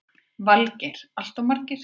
Valgeir: Alltof margir?